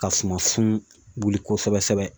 Ka sumasun wuli kosɛbɛ kosɛbɛ